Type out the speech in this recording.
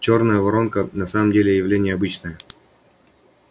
чёрная воронка на самом деле явление обычное